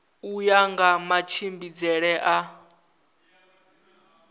u ya nga matshimbidzele a